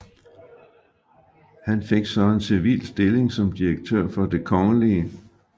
Han fik så en civil stilling som direktør for Det kgl